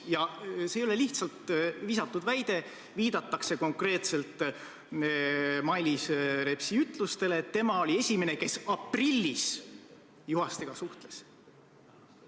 Ja see ei ole lihtsalt visatud väide, vaid viidatakse konkreetselt Mailis Repsi ütlustele, et tema oli esimene, kes aprillis Juhastega suhtles.